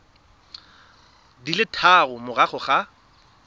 di le tharo morago ga